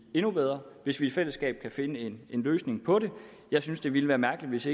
endnu bedre hvis vi i fællesskab kan finde en løsning jeg synes det ville være mærkeligt hvis